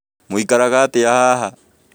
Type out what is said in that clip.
Mũikaraga atĩa haha